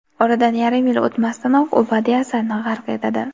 oradan yarim yil o‘tmasdanoq u badiiy asarni g‘arq etadi.